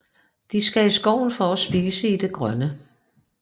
De skal i skoven for at spise i det grønne